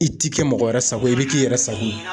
I ti kɛ mɔgɔ wɛrɛ sago ye, i bi k'i yɛrɛ sago ye